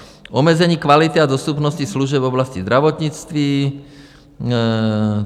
Omezení kvality a dostupnosti služeb v oblasti zdravotnictví.